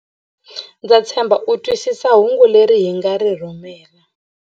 Ndza tshemba u twisisa hungu leri hi nga ri rhumela.